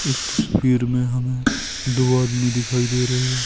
इस तस्वीर में हमें दो आदमी दिखाई दे रहे हैं।